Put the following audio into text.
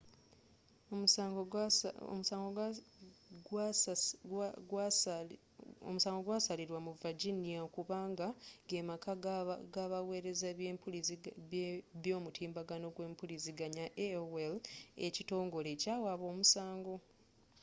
omusango gwasalilwa mu virginia kubanga gemaka gabawereza eby'omutimbagano gwempuliziganya aol ekitongole ekyawaaba omusango